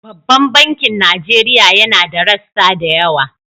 Babban bankin Nigeria yana da rassa da yawa.